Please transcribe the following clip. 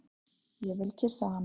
Ég vil kyssa hana.